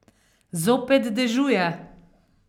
Zopet dežuje.